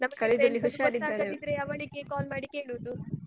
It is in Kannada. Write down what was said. ಗೊತ್ತಾಗದಿದ್ರೆ ಅವಳಿಗೆ call ಮಾಡಿ ಕೇಳುದು.